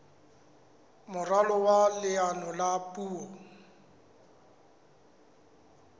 moralo wa leano la puo